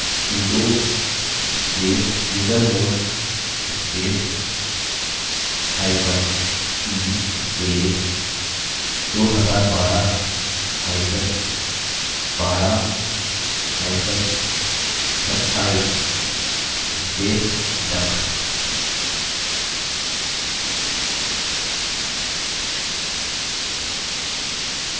sudo space usermod spacehyphen e space 2012hyphen 12hyphen 27 space duck